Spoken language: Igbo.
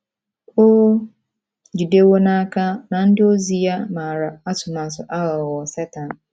O jidewo n’aka na ndị ozi ya maara atụmatụ aghụghọ Setan.